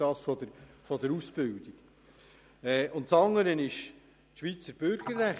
Auf der anderen Seite steht das Schweizer Bürgerrecht.